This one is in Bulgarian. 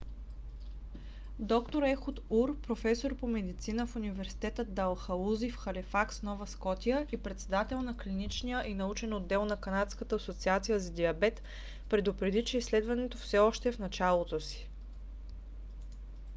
д - р ехуд ур професор по медицина в университета далхаузи в халифакс нова скотия и председател на клиничния и научен отдел на канадската асоциация за диабет предупреди че изследването все още е в началото си